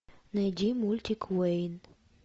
найди мультик уэйн